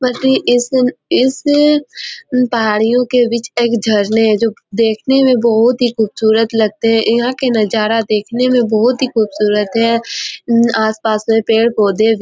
बल्कि इस दिन इस पहाड़ियों के बीच एक झरने है जो देखने में बहुत ही खुबसूरत लगते है यहाँ के नजारा देखने में बहुत ही खुबसूरत है म्म आसपास में पेड़ पोधे भी --